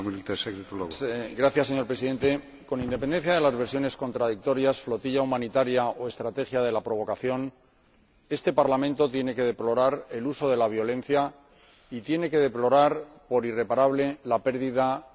Señor Presidente, con independencia de las versiones contradictorias flotilla humanitaria o estrategia de la provocación este Parlamento tiene que deplorar el uso de la violencia y tiene que deplorar, por irreparable, la pérdida de vidas humanas.